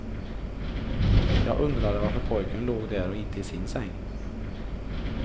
Jag undrade varför pojken låg där och inte i sin säng.